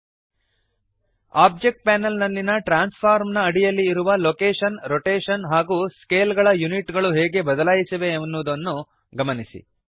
object panel ನಲ್ಲಿಯ transform ನ ಅಡಿಯಲ್ಲಿ ಇರುವ ಲೊಕೇಶನ್ ರೊಟೇಶನ್ ಹಾಗೂ ಸ್ಕೇಲ್ ಗಳ ಯೂನಿಟ್ ಗಳು ಹೇಗೆ ಬದಲಾಯಿಸಿವೆ ಎನ್ನುವುದನ್ನು ಗಮನಿಸಿರಿ